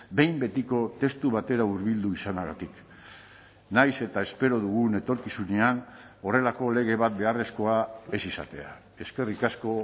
behin betiko testu batera hurbildu izanagatik nahiz eta espero dugun etorkizunean horrelako lege bat beharrezkoa ez izatea eskerrik asko